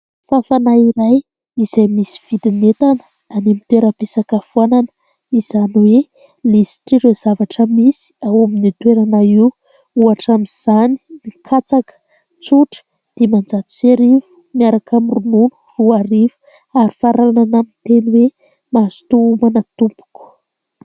Fafana iray izay misy vidin'entana any amin'ny toeram-pisakafoana, izany hoe lisitr' ireo zavatra misy ao amin'io toerana io, ohatra amin'izany katsaka tsotra dimanjato sy arivo, miaraka amin'ny ronono roa arivo ary faranana amin'ny teny hoe mazotoa homana tompoko.